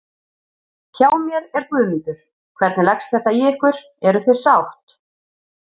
Hjá mér er Guðmundur, hvernig leggst þetta í ykkur, eruð þið sátt?